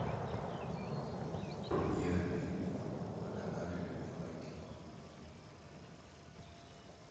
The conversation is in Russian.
премьеры фильмов на канале любимое кино